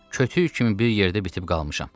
Kötüyü kimi bir yerdə bitib qalmışam.